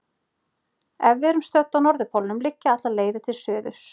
Ef við erum stödd á norðurpólnum liggja allar leiðir til suðurs.